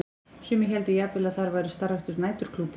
Sumir héldu jafnvel að þar væri starfræktur næturklúbbur.